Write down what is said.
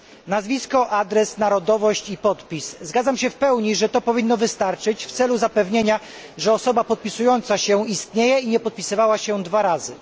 Nazwisko, adres, narodowość i podpis zgadzam się w pełni, że to powinno wystarczyć w celu zapewnienia, że osoba podpisująca się istnieje i nie podpisywała się dwa razy.